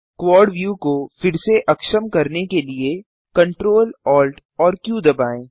quad view को फिर से अक्षम करने के लिए Ctrl Alt एएमपी क्यू दबाएँ